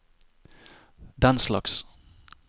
denslags